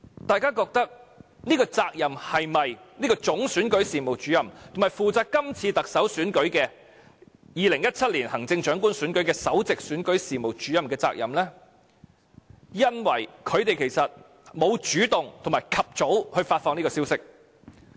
大家覺得這是否總選舉事務主任，以及負責2017年行政長官選舉的首席選舉事務主任的責任呢？因為他們沒有主動和及早發放這個消息。